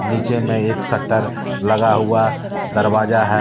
नीचे में एक शटर लगा हुआ दरवाजा ह--